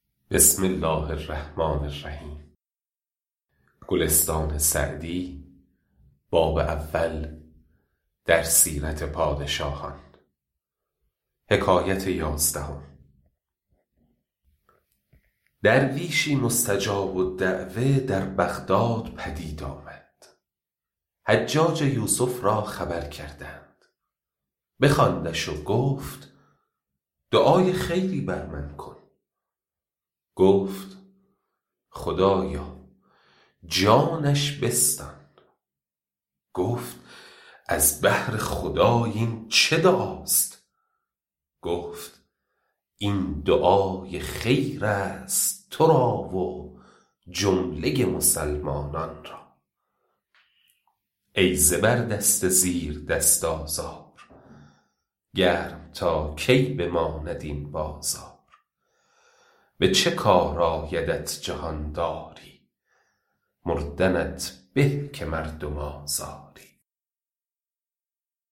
درویشی مستجاب الدعوة در بغداد پدید آمد حجاج یوسف را خبر کردند بخواندش و گفت دعای خیری بر من بکن گفت خدایا جانش بستان گفت از بهر خدای این چه دعاست گفت این دعای خیر است تو را و جمله مسلمانان را ای زبردست زیردست آزار گرم تا کی بماند این بازار به چه کار آیدت جهانداری مردنت به که مردم آزاری